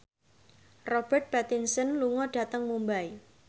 Robert Pattinson lunga dhateng Mumbai